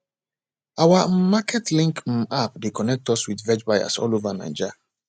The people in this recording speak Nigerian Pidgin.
our um market link um app dey connect us with veg buyers all over naija